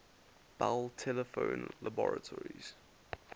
bell telephone laboratories